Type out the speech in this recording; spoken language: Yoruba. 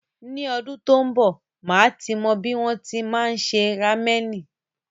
Ni ọdún tí ń b, màá ti mọ bí wọn ti máa ń se ramẹ̀nì.